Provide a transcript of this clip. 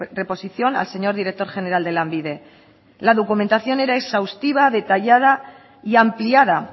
reposición al señor director general de lanbide la documentación era exhaustiva detallada y ampliada